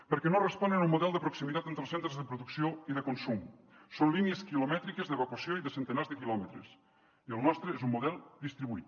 perquè no responen a un model de proximitat entre els centres de producció i de consum són línies quilomètriques d’evacuació i de centenars de quilòmetres i el nostre és un model distribuït